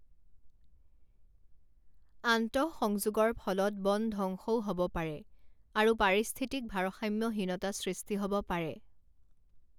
আন্তঃসংযোগৰ ফলত বন ধ্বংসও হ'ব পাৰে আৰু পাৰিস্থিতিক ভাৰসাম্যহীনতা সৃষ্টি হ'ব পাৰে।